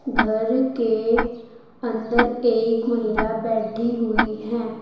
घर के अंदर एक महिला बैठी हुई है।